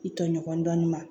I tɔɲɔgɔn dɔɔnin ma